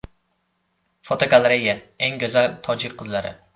Fotogalereya: Eng go‘zal tojik qizlari.